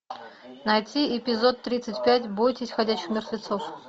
найти эпизод тридцать пять бойтесь ходячих мертвецов